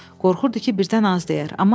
Qorxurdu ki, birdən az deyər.